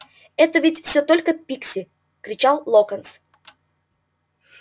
это ведь всё только пикси кричал локонс